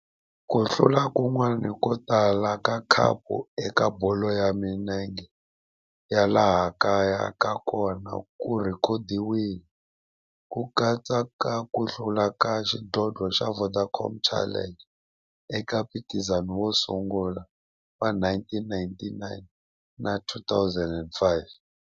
Ku hlula kun'wana ko tala ka khapu eka bolo ya milenge ya laha kaya na kona ku rhekhodiwile, ku katsa na ku hlula ka xidlodlo xa Vodacom Challenge eka mphikizano wo sungula wa 1999 na 2005.